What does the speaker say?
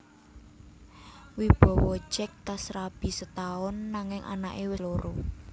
Wibowo jek tas rabi setaun nanging anak e wes loro